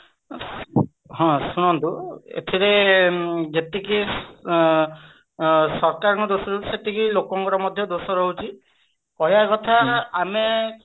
ହଁ ଶୁଣନ୍ତୁ ଏଇଥିରେ ଯେତିକି ଆଁ ସରକାରଙ୍କର ଯେତିକି ଦୋଷ ରହୁଛି ସେତିକି ଲୋକମାନଙ୍କର ମଧ୍ୟ ଦୋଷ ରହୁଛି କହିବା କଥା ଆମେ